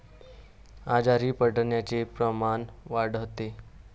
आजारी पडण्याचे प्रमाण वाढते.